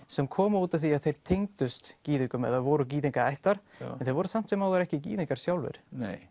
sem komu út af því að þeir tengdust gyðingum eða voru gyðingaættar en þeir voru samt sem áður ekki gyðingar sjálfir